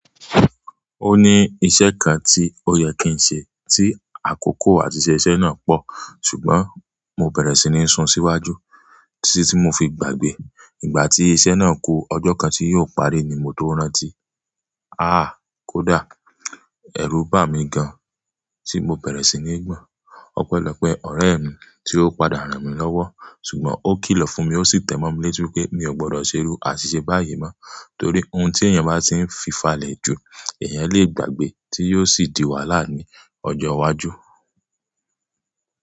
Ó ní iṣẹ́ kan tí ó yẹ kí n ṣe tí àkókò àti ṣẹ iṣẹ́ náà pọ̀. Ṣùgbọ́n mo bẹ̀rẹ̀ sí ní sun síwájú tí tí mo fi gbàgbé. Ìgbà tí iṣẹ́ náà ku ọjọ́ kan tí yiò parí ni mo tó rántí. Ah! Kódà, ẹ̀rù bà mí gan tí mo bẹ̀rẹ̀ sí ní gbọ́n. Ọ̀pẹlọ́pẹ́ ọ̀rẹ́ mi tí ó padà rán mi lọ́wọ́. Ṣùgbọ́n ó kìlọ̀ fún mi ó sì tẹ́mọ́ mi létí pé mi ò gbọdọ̀ ṣe irú àṣìṣe báyìí mọ́. Torí ohun tí èèyàn bá tí ń fi falẹ̀ jù, èèyàn lè gbàgbé tí yiò sì di wàhálà ní ọjọ́ iwájú.